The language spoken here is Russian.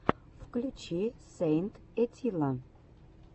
включи сэйнт этилла